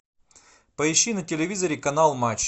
поищи на телевизоре канал матч